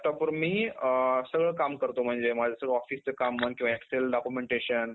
laptop वर मी सगळं काम करतो म्हणजे माझं सगळं officeचं काम किंवा excel documentation